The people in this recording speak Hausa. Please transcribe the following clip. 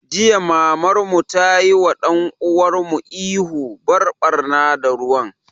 Jiya Mamar mu tayi wa ɗan uwan mu ihu 'Bar ɓarna da ruwan'!